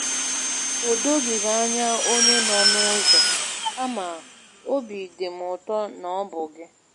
O doghị m anya onye nọ n'ụzọ, kama óbị dị m ụtọ na ọ bụ gị.